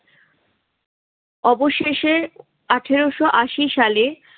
অবশেষে আঠারো আশি সালে